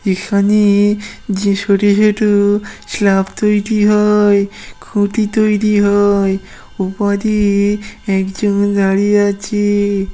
এখানে যে ছোট ছোট স্ল্যাপ তৈরি হয় খুঁটি তৈরি হয় ।উপাধির একজন দাঁড়িয়ে আছি ।